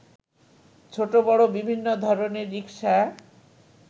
ছোট বড় বিভিন্ন ধরনের রিকশা